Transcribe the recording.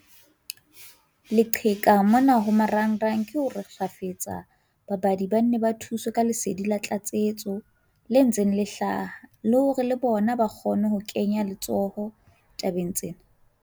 Leqheka mona ho marangrang ke hore kgafetsa babadi ba nne ba thuswe ka lesedi la tlatsetso le ntseng le hlaha, le hore le bona ba kgone ho kenya letsoho tabeng tsena.